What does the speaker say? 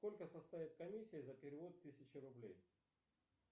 сколько составит комиссия за перевод тысяча рублей